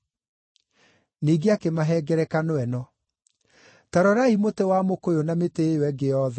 Ningĩ akĩmahe ngerekano ĩno: “Ta rorai mũtĩ wa mũkũyũ na mĩtĩ ĩyo ĩngĩ yothe.